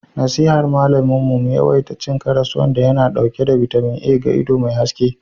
nasihar malamin mu mu yawaita cin karas wanda yana dauke da bitamin A ga ido mai haske